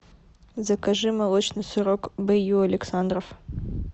закажи молочный сырок б ю александров